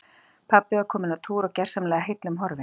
Pabbi var kominn á túr og gersamlega heillum horfinn.